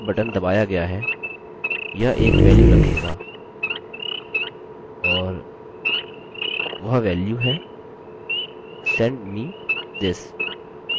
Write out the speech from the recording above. अतः जब तक submit बटन दबाया गया है यह एक वेल्यू रखेगा और वह वेल्यू है send me this